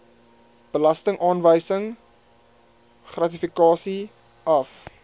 belastingaanwysing gratifikasie af